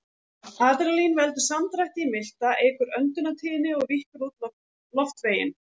Adrenalín veldur samdrætti í milta, eykur öndunartíðni og víkkar út loftveginn.